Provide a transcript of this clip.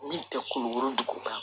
Min tɛ kulukoro dugu kan